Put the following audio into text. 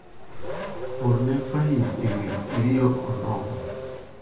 orne Fahim ewi rio onogo.